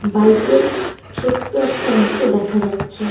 বাইকের ছোট্ট একটা অংশ দেখা যাচ্ছে.